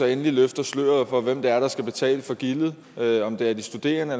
endelig løfter sløret for hvem det er der skal betale gildet om det er de studerende